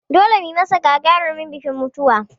Dole mu yi masa gagarumin bikin mutuwa!